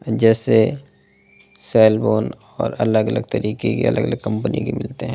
जेसे cell phone और अलग अलग तरीके के अलग अलग कंपनी के मिलते है ।